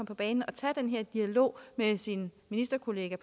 på banen og tage den her dialog med sin ministerkollega